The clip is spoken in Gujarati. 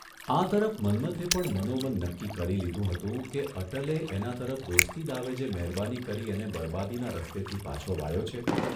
આ તરફ મન્મથે પણ મનોમન નક્કી કરી લીધું હતું કે અટલે એના તરફ દોસ્તી દાવે જે મહેરબાની કરી અને બરબાદી ના રસ્તેથી પાછો વાળ્યો છે